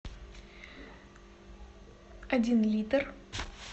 один литр